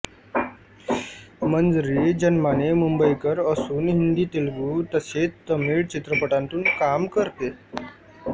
मंजरी जन्माने मुंबईकर असून हिंदीतेलुगू तसेच तमिळ चित्रपटांतून काम करते